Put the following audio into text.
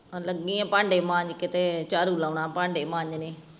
ਲਗੀਆਂ ਭਾਂਡੇ ਮਾਂਜ ਕੇ ਤੇ ਚਾੜੂ ਲਉਣਾ ਪਾਂਡੇ ਮਾਂਜਣੇ